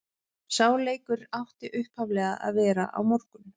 Sá leikur átti upphaflega að vera á morgun.